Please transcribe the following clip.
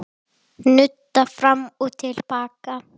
Nudda fram og til baka.